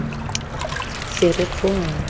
ferikgong